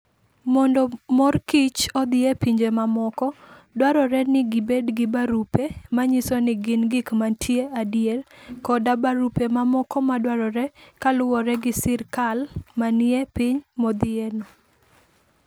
Mondo mor kich odhi e pinje mamoko, dwarore ni gibed gi barupe manyiso ni gin gik mantie adier, koda barupe mamoko madwarore kaluwore gi sirkal manie piny modhiyeno.